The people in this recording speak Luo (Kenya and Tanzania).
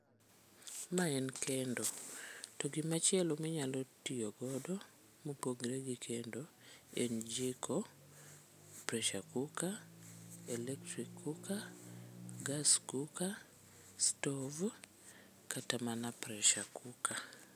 Mae en kendo to gimachielo minyalo tiyogodo mopogre gi kendo en jiko, pressure cooker, electric cooker, gas cooker, stove kata mana pressure cooker.